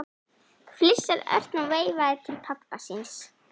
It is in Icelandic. flissaði Örn og veifaði til pabba síns.